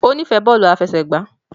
O n'ifẹ bóòlù àfẹsẹ̀gbá